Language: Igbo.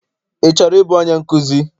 Ị chọrọ ịbụ onye nkụzi?